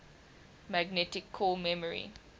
magnetic core memory